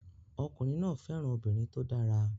Ọkùnrin náà fẹ́ràn obìnrin tó dára